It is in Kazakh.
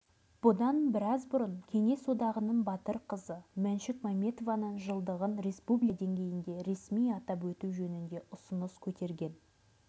бұдан біраз бұрын кеңес одағының батыр қызы мәншүк мәметованың жылдығын республика деңгейінде ресми атап өту жөнінде ұсыныс көтерген